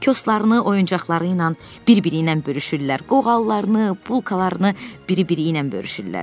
Koslarını, oyuncaqları ilə bir-biri ilə bölüşürlər, qoğallarını, bulkalarını bir-biri ilə bölüşürlər.